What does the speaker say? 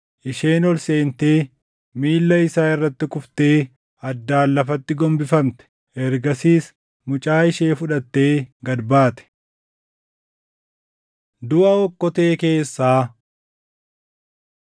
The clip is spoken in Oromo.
Isheen ol seentee, miilla isaa irratti kuftee addaan lafatti gombifamte. Ergasiis mucaa ishee fudhattee gad baate. Duʼa Okkotee Keessaa